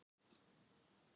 Ég rís upp.